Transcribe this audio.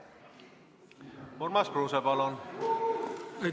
Urmas Kruuse, palun!